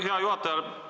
Hea juhataja!